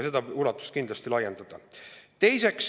Selle ulatust tuleks kindlasti laiendada.